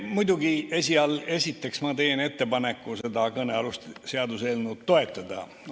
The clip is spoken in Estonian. Muidugi, esiteks ma teen ettepaneku seda kõnealust seaduseelnõu toetada.